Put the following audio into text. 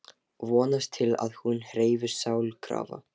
Vonast til að hún hreyfist sjálfkrafa.